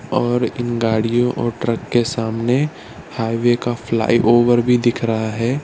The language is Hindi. और इन गाड़ियों और ट्रक के सामने हाइवे का फ्लाईओवर भी दिख रहा है।